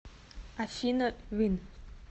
афина вин